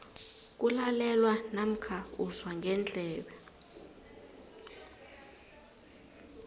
kulalelwa namkha uzwa ngendlebe